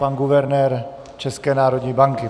Pan guvernér České národní banky.